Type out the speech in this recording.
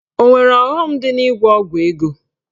Ọ nwere ọghọm dị n'ịgwọ ọgwụ ego?